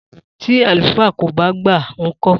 Tí àlùfáà kò ba gba nko?